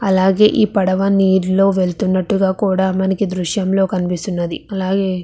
అలాగే ఈ పడవ నీరులో వెళ్తున్నట్టుగా కూడా మనకి దృశ్యంలో కనిపిస్తున్నది అలాగే --